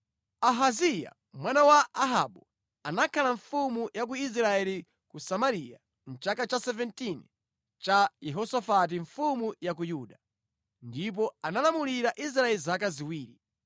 Ahaziya mwana wa Ahabu anakhala mfumu ya ku Israeli ku Samariya mʼchaka cha 17 cha Yehosafati mfumu ya ku Yuda, ndipo analamulira Israeli zaka ziwiri.